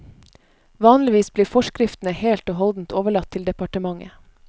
Vanligvis blir forskriftene helt og holdent overlatt til departementet.